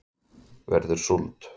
verður súld